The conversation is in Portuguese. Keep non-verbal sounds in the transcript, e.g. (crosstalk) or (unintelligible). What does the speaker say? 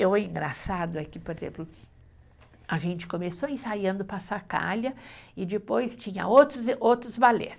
E o engraçado é que, por exemplo, a gente começou ensaiando (unintelligible) e depois tinha outros e outros balés.